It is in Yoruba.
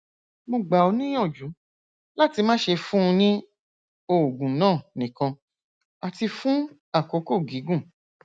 mo gbà ọ níyànjú láti má ṣe fún un ní oògùn náà nìkan àti fún àkókò gígùn